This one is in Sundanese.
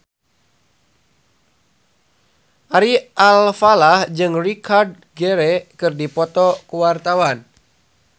Ari Alfalah jeung Richard Gere keur dipoto ku wartawan